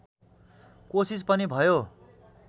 कोसिस पनि भयो